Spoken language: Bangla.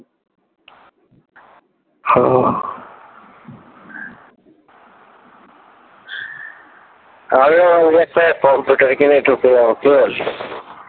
আমিও ভাবছি একটা কম্পিউটার কিনে ঢুকে যাবো কি বলিস?